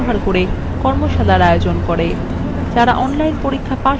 যারা online পরীক্ষা pass করে তাদের certificates দেয়